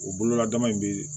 O bolola dama in bɛ